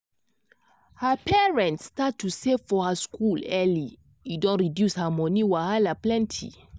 her parents start to save for her school early e don reduce her money wahala plenty.